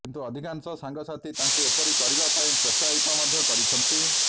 କିନ୍ତୁ ଅଧିକାଂଶ ସାଙ୍ଗସାଥୀ ତାଙ୍କୁ ଏପରି କରିବା ପାଇଁ ପୋତ୍ସାହିତ ମଧ୍ୟ କରିଛନ୍ତି